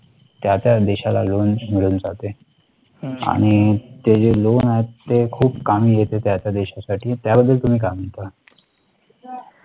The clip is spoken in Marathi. त्या त्या देशाला loan मिळून जाते आणि ते loan आहेत ते खूप कामी येते त्याच्या देशासाठी त्या बद्दल तुम्ही काय म्हणता